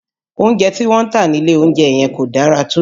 Oúnjẹ tí wọ́n ń tà nílé oúnjẹ yẹn kò dára tó